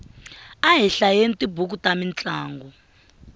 a hi hlayeni tibuku ta mintlangu